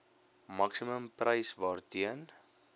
maksimum prys waarteen